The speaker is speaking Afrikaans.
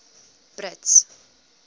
brits